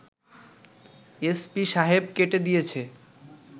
SP সাহেব কেটে দিয়েছে